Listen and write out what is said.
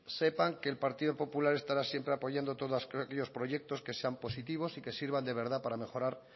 sepan que el partido popular estará siempre apoyando todos aquellos esos proyectos que sean positivos y que sirvan de verdad para mejorar